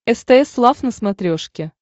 стс лав на смотрешке